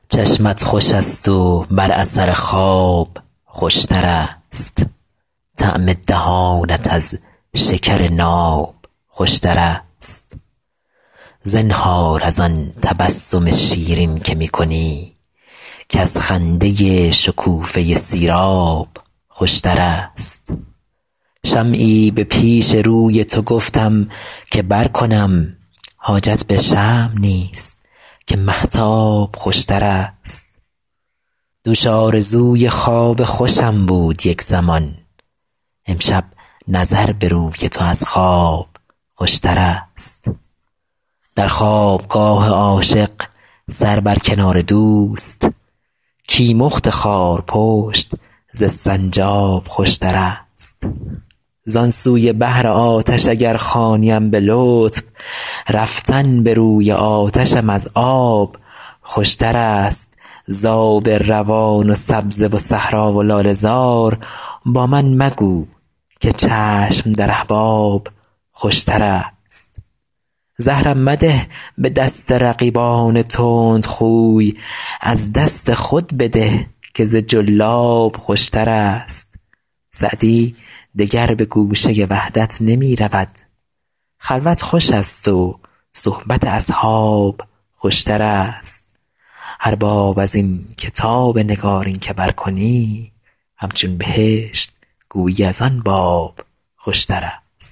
چشمت خوش است و بر اثر خواب خوش تر است طعم دهانت از شکر ناب خوش تر است زنهار از آن تبسم شیرین که می کنی کز خنده شکوفه سیراب خوش تر است شمعی به پیش روی تو گفتم که برکنم حاجت به شمع نیست که مهتاب خوش تر است دوش آرزوی خواب خوشم بود یک زمان امشب نظر به روی تو از خواب خوش تر است در خواب گاه عاشق سر بر کنار دوست کیمخت خارپشت ز سنجاب خوش تر است زان سوی بحر آتش اگر خوانیم به لطف رفتن به روی آتشم از آب خوش تر است ز آب روان و سبزه و صحرا و لاله زار با من مگو که چشم در احباب خوش تر است زهرم مده به دست رقیبان تندخوی از دست خود بده که ز جلاب خوش تر است سعدی دگر به گوشه وحدت نمی رود خلوت خوش است و صحبت اصحاب خوش تر است هر باب از این کتاب نگارین که برکنی همچون بهشت گویی از آن باب خوشترست